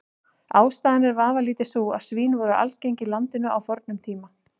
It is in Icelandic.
Ástæðan er vafalítið sú að svín voru algeng í landinu á fornum tíma.